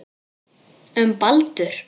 Um Baldur.